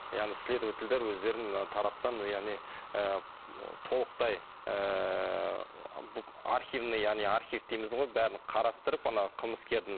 яғни следовательдер өздерінің тараптан яғни ы толықтай ыыы архивный яғни архив дейміз ғой бәрін қарастырып анау қылмыскердің